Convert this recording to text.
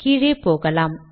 கீழே போகலாம்